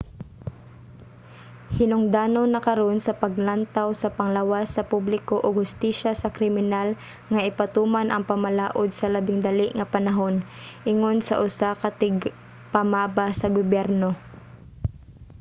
"hinungdanon na karon sa panglantaw sa panglawas sa publiko ug hustisya sa kriminal nga ipatuman ang pamalaod sa labing dali nga panahon ingon sa usa ka tigpamaba sa gobyerno